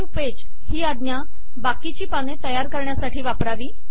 new page ही आज्ञा बाकीची पाने तयार करण्यासाठी वापरावी